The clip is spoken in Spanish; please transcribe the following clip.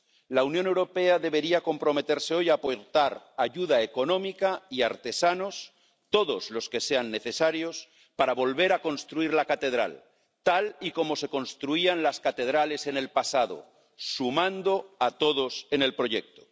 La Unión Europea debería comprometerse hoy a aportar ayuda económica y artesanos —todos los que sean necesarios— para volver a construir la catedral tal y como se construían las catedrales en el pasado, sumando a todos en el proyecto.